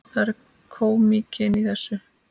Það er kómíkin í þessu.